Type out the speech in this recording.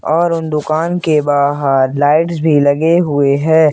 और उन दुकान के बाहर लाइट्स भी लगे हुए हैं।